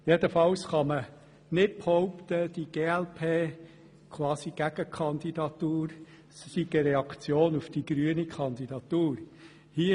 Jedenfalls kann man nicht behaupten, die Gegenkandidatur der glp sei quasi eine Reaktion auf die Kandidatur der Grünen.